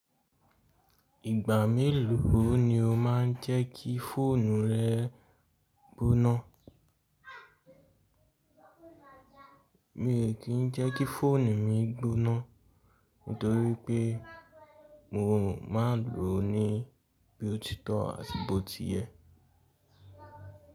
Ìgbà mélòó ni o má n jẹ́kí fóònù rẹ gboná? Mi o kì í jẹ́kí fóònù mi gboná, nítorí pé mo ma n lòó ní bí òtítọ́ àti bó ti yẹ.